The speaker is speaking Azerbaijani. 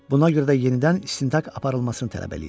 Buna görə də yenidən istintaq aparılmasını tələb eləyir.